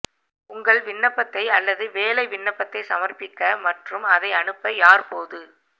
உங்கள் விண்ணப்பத்தை அல்லது வேலை விண்ணப்பத்தை சமர்ப்பிக்க மற்றும் அதை அனுப்ப யார் போது